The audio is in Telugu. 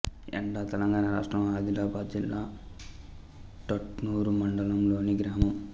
యెండ తెలంగాణ రాష్ట్రం ఆదిలాబాద్ జిల్లా ఉట్నూరు మండలంలోని గ్రామం